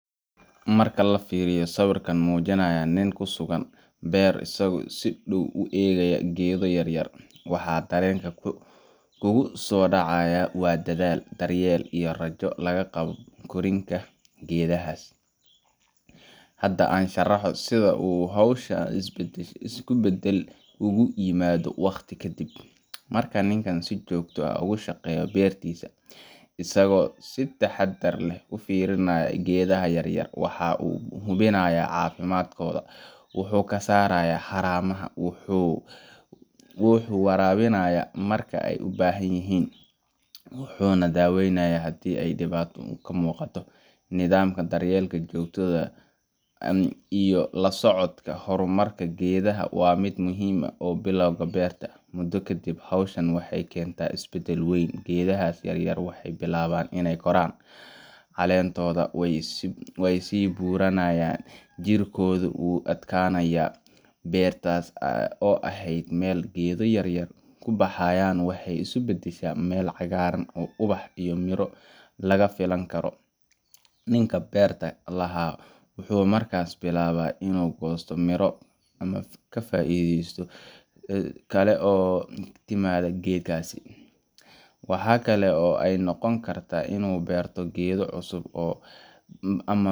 Marka la fiiriyo sawirka muujinaya nin ku sugan beer isagoo si dhow u eegaya geedo yaryar, waxa dareenka kugu soo dhacaya waa dadaal, daryeel, iyo rajo laga qabo korriinka geedahaas. Hadda, aan sharaxo sida uu hawshan isbedel ugu yimaado wakhti ka dib. Marka ninkan uu si joogto ah uga shaqeeyo beertiisa, isagoo si taxaddar leh u fiirinaya geedaha yaryar, waxa uu hubinayaa caafimaadkooda, wuxuu ka saarayaa haramaha, wuxuu waraabinayaa marka ay u baahan yihiin, wuxuuna ku daweynayaa haddii ay dhibaato ka muuqato. Nidaamkan daryeel joogto ah iyo la socodka horumarka geedaha waa mid muhiim ah bilowga beerta. Muddo ka dib, hawshan waxay keentaa isbedel weyn. Geedaha yaryar waxay bilaabaan inay koraan, caleentooda way sii buuranayaan, jiriddooduna way adkaanaysaa. Beerta oo ahayd meel geedo yaryar ku baxayaan waxay isu beddeshaa meel cagaaran oo ubax iyo midho laga filan karo. Ninka beerta lahaa wuxuu markaas bilaabaa inuu ka goosto miro ama ka faa’iidesto kale oo ka timaadda geedahaas. Waxa kale oo ay noqon kartaa in uu beerto geedo cusub ama